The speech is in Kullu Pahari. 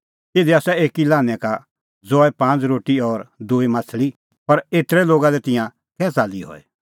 इधी आसा एकी लान्हैं का ज़ौए पांज़ रोटी और दूई माह्छ़ली पर एतरै लोगा लै तिंयां कै च़ाल्ली हई